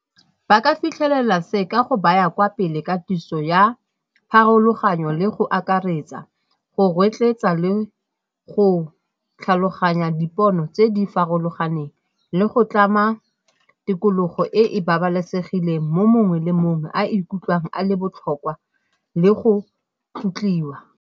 Ba ka fitlhelela se ka go baya kwa pele katiso ya pharologanyo le go akaretsa, go rotloetsa le go tlhaloganya dipono tse di farologaneng le go tlama tikologo e e babalesegileng mo mongwe le mongwe a ikutlwang a le botlhokwa le go tlotliwa.